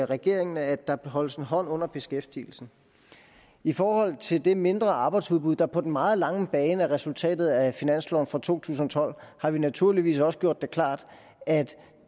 regeringen at der holdes en hånd under beskæftigelsen i forhold til det mindre arbejdsudbud der på den meget lange bane er resultatet af finansloven for to tusind og tolv har vi naturligvis også gjort det klart at